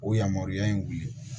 O yamaruya in ye